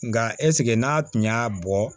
Nka ɛsike n'a tun y'a bɔ